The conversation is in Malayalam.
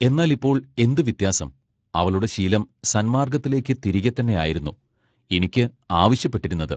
എന്നാൽ ഇപ്പോൾ എന്തു വ്യത്യാസം അവളുടെ ശീലം സന്മാർഗത്തിലേക്ക് തിരിക തന്നെ ആയിരുന്നു ഇനിക്ക് ആവശ്യപ്പെട്ടിരുന്നത്.